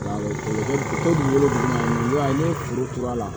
n ye foro turu a la